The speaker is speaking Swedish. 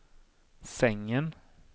sängen